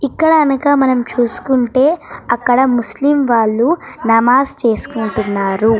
ఇక్కడ కనక మనం చూసుకుంటే అక్కడ ముస్లిం వాళ్ళు నమాజు చేసుకుంటున్నారు.